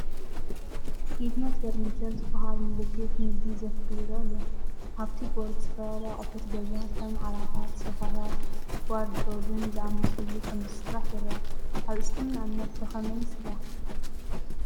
"ጌትነት ፈርኒቸር " ዝበሃል ምልክት ንግዲ ዘፍሪ ይረአ ኣሎ። ኣብቲ ቦርድ ዝተፈላለዩ ኣቑሑት ገዛ፡ ከም ዓራታት፡ ሶፋታትን ዋርድሮብን ዝኣመሰሉ ከምዝሰርሕ ይርአ። ኣብ እስልምና እምነት ብኸመይ ይስራሕ?